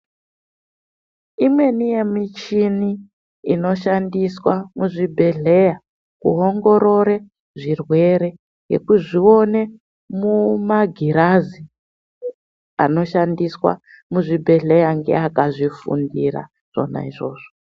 Imweni yemuchini inoshandiswa muzvibhehleya kuongorore zvirwere nekuzvione mumagirazi anoshandiswa muzvibhehleya ngeaka zvifundira zvona izvozvo.